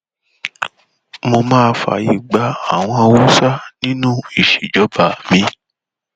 mo máa fààyè gba àwọn haúsá nínú ìṣèjọba mi